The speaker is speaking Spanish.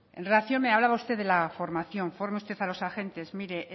en relación me hablaba usted de la formación forme usted a los agentes mire